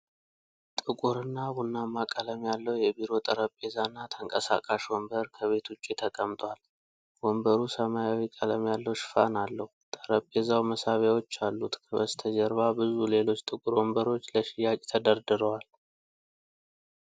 ጥቁርና ቡናማ ቀለም ያለው የቢሮ ጠረጴዛና ተንቀሳቃሽ ወንበር ከቤት ውጭ ተቀምጧል። ወንበሩ ሰማያዊ ቀለም ያለው ሽፋን አለው። ጠረጴዛው መሳቢያዎች አሉት። ከበስተጀርባ ብዙ ሌሎች ጥቁር ወንበሮች ለሽያጭ ተደርድረዋል።